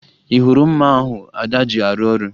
Ị hụrụ mma ahụ Ada ji arụ ọrụ?